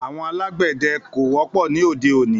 Àwọn alàgbéde ko wópò ní óde oni